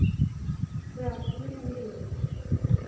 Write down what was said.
Þegar tíminn líður